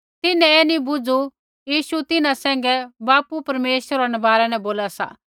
तिन्हैं ऐ नी बुझू यीशु तिन्हां सैंघै बापू परमेश्वरा रै बारै न बोला सा